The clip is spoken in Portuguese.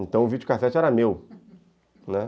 Então o videocassete era meu, né.